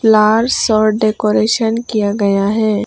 Flowers और decoration किया गया है।